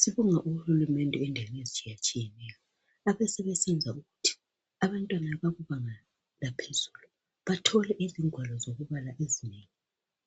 Sibonga uhulumende endaweni ezitshiyatshiyeneyo abesebesenza ukuthi abantwana abakubanga laphezulu bathole izingwalo zokubala ezinengi